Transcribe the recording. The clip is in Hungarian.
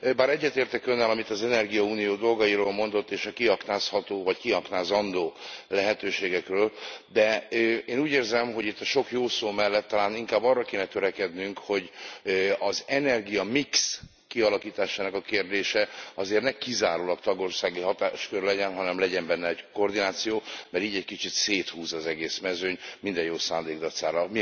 Bár egyetértek Önnel, amit az energiaunió dolgairól mondott, és a kiaknázható vagy kiaknázandó lehetőségekről, de én úgy érzem, hogy itt a sok jó szó mellett talán inkább arra kéne törekednünk, hogy az energiamix kialakításának a kérdése azért ne kizárólag tagországi hatáskör legyen, hanem legyen benne egy koordináció, mert így egy kicsit széthúz az egész mezőny, minden jó szándék dacára.